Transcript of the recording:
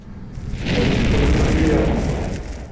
я лучше буду грубияном с ними